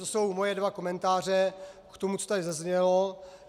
To jsou moje dva komentáře k tomu, co tady zaznělo.